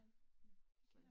Ja